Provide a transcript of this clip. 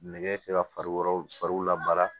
Nɛgɛ kanɲɛ fariw fari la baara